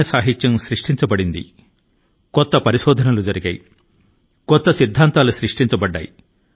సాహిత్యం పునరుజ్జీవం చూసింది కొత్త పరిశోధనలు వెలువడ్డాయి కొత్త అంశాలు పుట్టుకొచ్చాయి